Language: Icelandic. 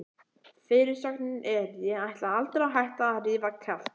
Fyrirsögnin er: Ég ætla aldrei að hætta að rífa kjaft!